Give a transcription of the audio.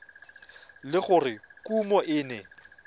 le gore kumo e ne